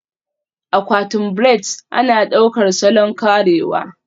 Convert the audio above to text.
Akwatin braids ana ɗaukar salon karewa